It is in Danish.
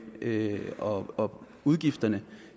og udgifterne